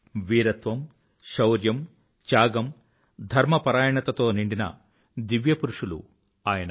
వీరత్వం శౌర్యం త్యాగం ధర్మపరాయణత తో నిండిన దివ్య పురుషులు ఆయన